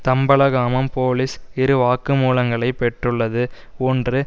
Thambalagamam police இரு வாக்குமூலங்களை பெற்றுள்ளது ஒன்று